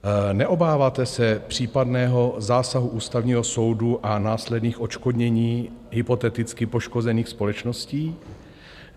Neobáváte se případného zásahu Ústavního soudu a následných odškodnění hypoteticky poškozených společností?